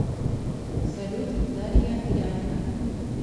салют дарья янина